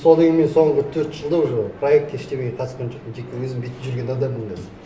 содан кейін мен соңғы төрт жылда уже проект ештеңеге қатысқан жоқпын тек өзім бүйтіп жүрген адаммын қазір